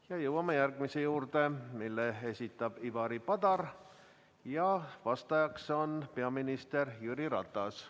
Ja jõuame järgmise küsimuse juurde, mille esitab Ivari Padar ja vastajaks on peaminister Jüri Ratas.